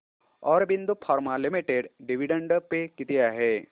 Aurobindo pharma limited dividend pay किती आहे